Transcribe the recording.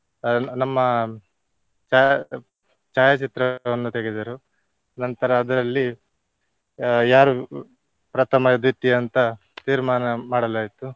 ಅಹ್ ನಮ್ಮ ಛಾಯಾ~ ಛಾಯಾಚಿತ್ರವನ್ನು ತೆಗೆದರು ನಂತರ ಅದರಲ್ಲಿ ಅಹ್ ಯಾರು ಪ್ರಥಮ, ದ್ವಿತೀಯ ಅಂತ ತೀರ್ಮಾನ ಮಾಡಲಾಯಿತು.